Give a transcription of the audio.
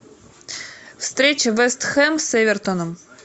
встреча вест хэм с эвертоном